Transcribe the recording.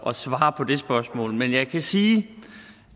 at svare på det spørgsmål men jeg kan sige